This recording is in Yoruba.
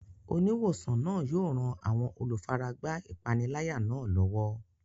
Oníwòsàn náà yóò ran àwọn olùfaragbá ìpániláyà náà lọ́wọ́.